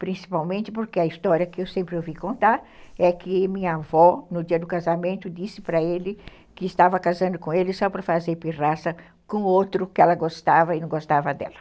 Principalmente porque a história que eu sempre ouvi contar é que minha avó, no dia do casamento, disse para ele que estava casando com ele só para fazer pirraça com outro que ela gostava e não gostava dela.